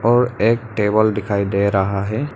और एक टेबल दिखाई दे रहा है।